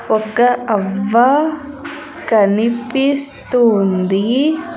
ఒక అవ్వ కనిపిస్తు ఉంది.